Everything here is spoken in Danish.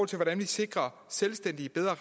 til hvordan vi sikrer selvstændige bedre